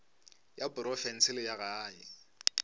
ya profense le ya gae